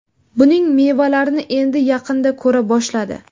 Buning mevalarini endi yaqinda ko‘ra boshladi.